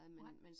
Nej